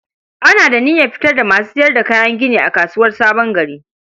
Ana da niyar fitar da masu sayar da kayan gini a kasuwar Sabon Gari.